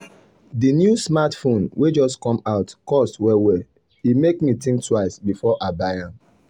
the new smartphone wey just come out cost well well e make me think twice before i buy am.